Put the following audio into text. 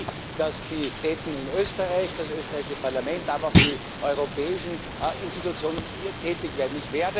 Ich will, dass die Autoritäten in Österreich, das österreichische Parlament, aber auch die europäischen Institutionen hier tätig werden.